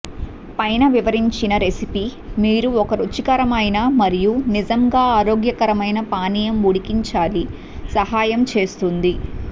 పైన వివరించిన రెసిపీ మీరు ఒక రుచికరమైన మరియు నిజంగా ఆరోగ్యకరమైన పానీయం ఉడికించాలి సహాయం చేస్తుంది